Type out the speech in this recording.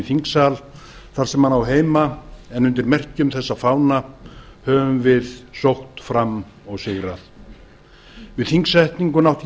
þingsal þar sem hann á heima en undir merkjum þessa fána höfum við sótt fram og sigrað við þingsetninguna átti ég